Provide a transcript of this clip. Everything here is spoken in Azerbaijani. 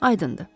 Aydındır.